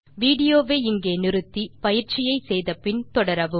video வை இங்கே நிறுத்தி பயிற்சியை செய்து முடித்து பின் தொடரவும்